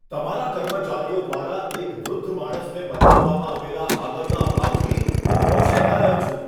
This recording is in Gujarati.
તમારા કર્મચારીઓ દ્વારા એક વૃદ્ધ માણસને બતાવવામાં આવેલા આદરના અભાવથી હું રોષે ભરાયો છું.